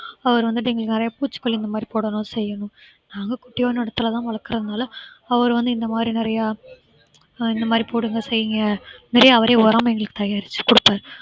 அவர் வந்துட்டு எங்களுக்கு நிறைய பூச்சிகொல்லி இந்த மாதிரி போடணும்னு செய்யணும் நாங்க குட்டியோண்டு இடத்துல வளர்க்கிறதுனால அவர் வந்து இந்த மாதிரி நிறைய அஹ் இந்த மாதிரி போடுங்க செய்யுங்க நிறைய அவரே உரம் எங்களுக்கு தயாரிச்சு குடுப்பாரு